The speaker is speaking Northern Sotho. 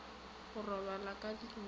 go robala ka ntlong ye